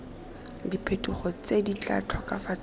diphetogo tse di tla tokafatsang